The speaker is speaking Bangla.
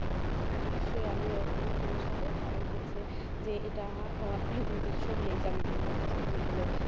আমিও সেই একমত তোমার সাথে কারণ হচ্ছে যে এটা তুমি তো শুনলেই যে আমি বললাম যে এই গুলো